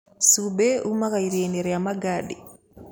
Cumbĩ umaga iria-inĩ rĩa Magadi.